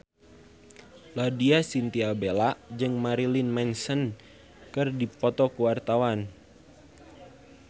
Laudya Chintya Bella jeung Marilyn Manson keur dipoto ku wartawan